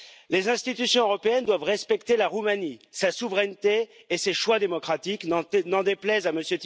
Les institutions européennes doivent respecter la Roumanie, sa souveraineté et ses choix démocratiques, n'en déplaise à M.